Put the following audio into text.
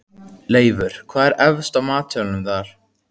Leifur, hvað er efst á matseðlinum þar?